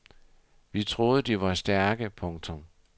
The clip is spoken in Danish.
Vi troede de var stærke. punktum